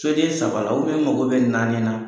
Soden saba la n mago bɛ naani na.